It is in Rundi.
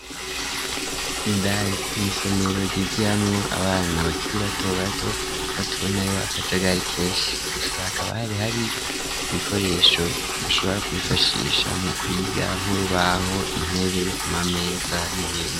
Indandi mw'isomero ryigiyamwo abana bakiri bato bato ho tubonayo akajagari keshi gusa akaba hari hariyo ibikoresho bashobora kwifashisha mu kwiga nk'urubaho intebe amameza n'ibindi.